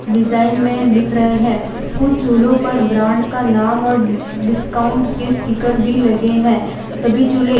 design में दिख रहे हैं कुछ चूल्हों पर ब्रांड का नाम और डिस्काउंट के स्टीकर भी लगे हैं सभी चूल्हे --